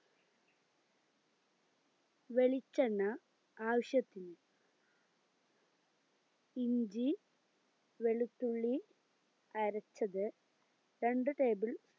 വെളിച്ചെണ്ണ ആവശ്യത്തിന് ഇഞ്ചി വെളുത്തുള്ളി അരച്ചത് രണ്ട് table